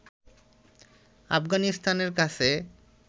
আফগানিস্তানের কাছে